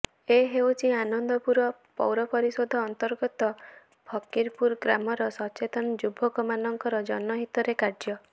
ଏ ହେଉଛି ଆନନ୍ଦପୁର ପୌରପରିଷଦ ଅନ୍ତର୍ଗତ ଫକୀରପୁର ଗ୍ରାମର ସଚେତନ ଯୁବକ ମାନଙ୍କର ଜନ ହିତରେ କାର୍ଯ୍ୟ